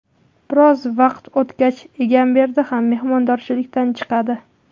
Biroz vaqt o‘tgach, Egamberdi ham mehmondorchilikdan chiqadi.